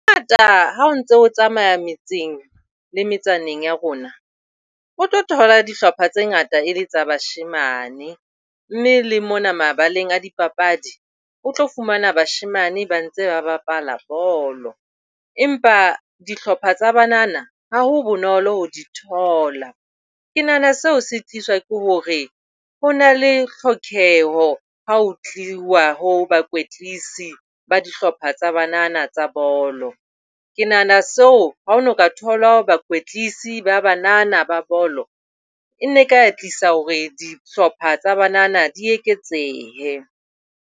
Hangata ha o ntso tsamaya metseng le metsaneng ya rona o tlo thola dihlopha tse ngata e le tsa bashemane, mme le mona mabaleng a dipapadi, o tlo fumana bashemane ba ntse ba bapala bolo. Empa dihlopha tsa banana ha ho bonolo ho di thola. Ke nahana seo se tliswa ke hore ho na le tlhokeho ha ho tliwa ho dihlopha tsa banana tsa bolo. Ke nahana seo ha hona ka thola bakwetlise ba banana ba bolo, e ne ka tlisa hore dihlopha tsa banana di eketsehe.